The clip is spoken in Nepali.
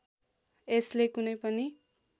यसले कुनै पनि